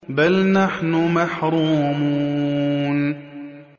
بَلْ نَحْنُ مَحْرُومُونَ